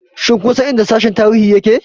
Shin kun san inda Sashen Tarihi yake?